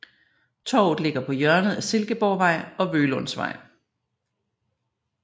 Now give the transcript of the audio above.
Torvet ligger på hjørnet af Silkeborgvej og Vølundsvej